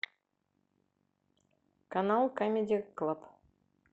канал камеди клаб